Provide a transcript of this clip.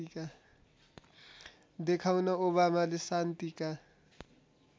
देखाउन ओबामाले शान्तिका